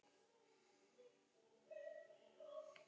Hefndi sín með tölvuvírus